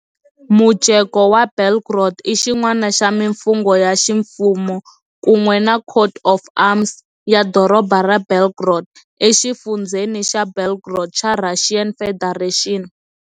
Mujeko wa Belgorod i xin'wana xa mimfungho ya ximfumo, kun'we na coat of arms, ya doroba ra Belgorod, exifundzheni xa Belgorod xa Russian Federation.